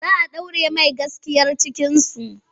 Za a ɗaure mai gaskiyar cikinsu.